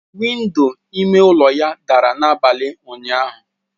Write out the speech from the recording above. Window ime ụlọ ya dara n'abalị ụnyaahụ.